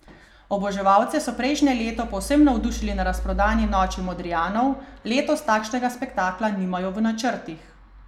Oboževalce so prejšnje leto povsem navdušili na razprodani Noči Modrijanov, letos takšnega spektakla nimajo v načrtih.